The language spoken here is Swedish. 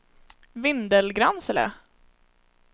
Vindelgransele